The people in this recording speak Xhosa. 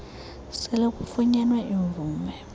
sele kufunyenwe imvume